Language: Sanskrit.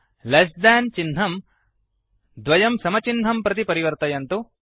लेस थान् लेस् देन् चिह्नं डबल इक्वल तो द्वयं समचिह्नं प्रति परिवर्तयन्तु